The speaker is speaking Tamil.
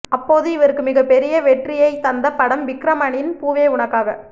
அப்போது இவருக்கு மிகப்பெரிய வெற்றியைத்தந்த படம் விக்ரமனின் பூவே உனக்காக